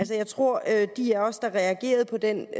jeg tror at de af os der reagerede på den